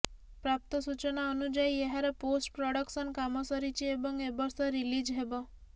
ପ୍ରାପ୍ତ ସୂଚନା ଅନୁଯାୟୀ ଏହାର ପୋଷ୍ଟ ପ୍ରଡକସନ୍ କାମ ସରିଛି ଏବଂ ଏ ବର୍ଷ ରିଲିଜ୍ ହେବ